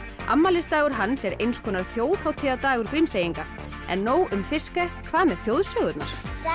afmælisdagur hans er eins konar þjóðhátíðardagur Grímseyinga en nóg um Fiske hvað með þjóðsögurnar